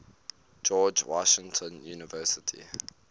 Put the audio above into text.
george washington university